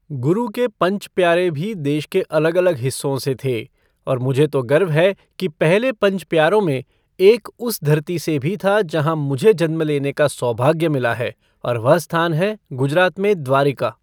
गुरु के पंच प्यारे भी देश के अलग अलग हिस्सों से थे, और मुझे तो गर्व है कि पहले पंच प्यारों में एक उस धरती से भी था जहां मुझे जन्म लेने का सौभाग्य मिला है और वह स्थान है गुजरात में द्वारिका।